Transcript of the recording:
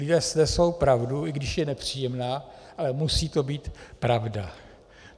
Lidé snesou pravdu, i když je nepříjemná, ale musí to být pravda.